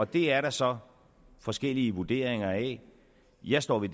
det er der så forskellige vurderinger af jeg står ved